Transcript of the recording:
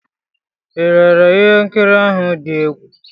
Ị lere ihe nkiri ahụ dị egwu?